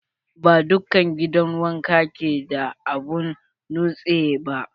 Ba dukkan gidan wanka ke da abun nutse ba.